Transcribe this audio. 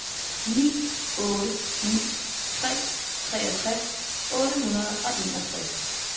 ni otte ni tre treogtres otte hundrede og enogtres